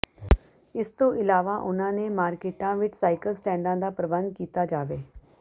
ਇਸ ਤੋਂ ਇਲਾਵਾ ਉਨ੍ਹਾਂ ਨੇ ਮਾਰਕੀਟਾਂ ਵਿੱਚ ਸਾਈਕਲ ਸਟੈਂਡਾਂ ਦਾ ਪ੍ਰਬੰਧ ਕੀਤਾ ਜਾਵੇ